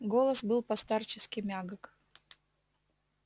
голос был по-старчески мягок